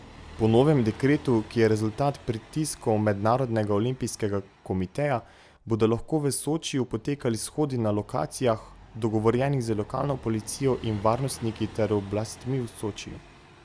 Po novem dekretu, ki je rezultat pritiskov Mednarodnega olimpijskega komiteja, bodo lahko v Sočiju potekali shodi na lokacijah, dogovorjenih z lokalno policijo in varnostniki ter oblastmi v Sočiju.